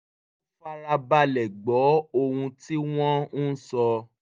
ó fara balẹ̀ gbọ́ ohun tí wọ́n ń sọ